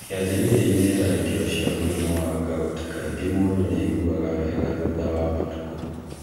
kĩanjĩrĩriainĩ tharĩkĩro cia mũrimũ wa gout kaingĩ mũndũ nĩ agũaga wega thutha wa matukũ.